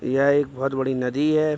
यह एक बोहोत बड़ी नदी है।